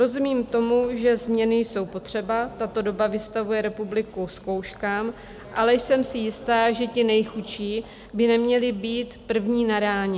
Rozumím tomu, že změny jsou potřeba, tato doba vystavuje republiku zkouškám, ale jsem si jistá, že ti nejchudší by neměli být první na ráně.